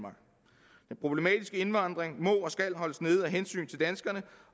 problematiske indvandring må og skal holdes nede af hensyn til danskerne